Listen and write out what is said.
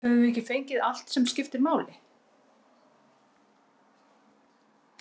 Höfum við ekki fengið allt sem skiptir máli?